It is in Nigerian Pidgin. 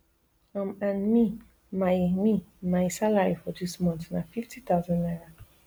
um and me my me my salary for dis month na fifty thousand naira